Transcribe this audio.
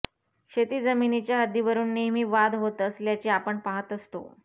शेती जमिनीच्या हद्दीवरुन नेहमी वाद होत असल्याचे आपण पाहत असतो